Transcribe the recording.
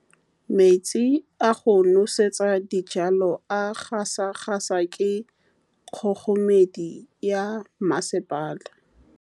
Metsi a go nosetsa dijalo a gasa gasa ke kgogomedi ya masepala.